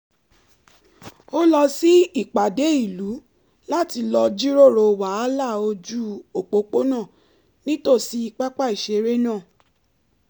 ó lọ sí ìpàdé ìlú láti lọ jíròrò wàhálà ojú òpópónà nítòsí pápá ìṣeré náà